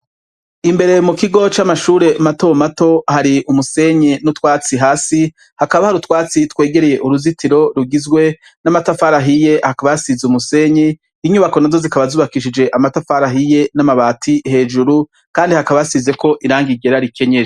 Imbere mu kigo c'amashure matomato, hari umusenyi n'utwatsi hasi; hakaba hari utwatsi twegereye uruzitiro rugizwe n'amatafari ahiye; hakaba hasize umusenye, inyubako na zo zikaba zubakishije amatafari ahiye n'amabati hejuru, kandi hakabasizeko iranga igera rikenye.